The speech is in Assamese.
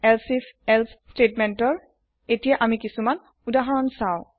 if elsif এলছে স্তেতমেন্তৰ এতিয়া আমি কিসুমান উদাহৰণ সাও